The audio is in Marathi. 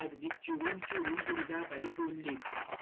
अर्धी चिडून चिडून दुर्गाबाई बोलली.